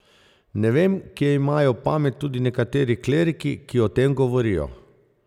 Ne vem, kje imajo pamet tudi nekateri kleriki, ki o tem govorijo.